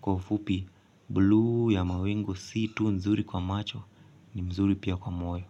Kwa ufupi blue ya mawingo si tu nzuri kwa macho ni mzuri pia kwa moyo.